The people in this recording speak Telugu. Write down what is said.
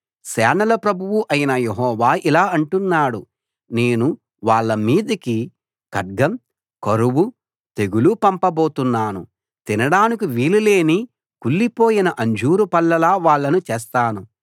సేనల ప్రభువు అయిన యెహోవా ఇలా అంటున్నాడు నేను వాళ్ళ మీదికి ఖడ్గం కరువు తెగులు పంపబోతున్నాను తినడానికి వీలు లేని కుళ్ళిపోయిన అంజూరు పళ్ళలా వాళ్ళను చేస్తాను